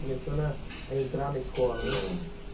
Começando a entrar na escola, né?